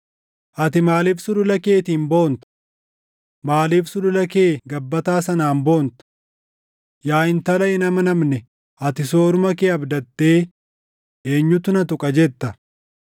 Ati maaliif sulula keetiin boonta? Maaliif sulula kee gabbataa sanaan boonta? Yaa intala hin amanamne ati sooruma kee abdattee, ‘Eenyutu na tuqa?’ jetta.